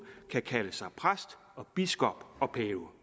kan kalde sig præst og biskop og pave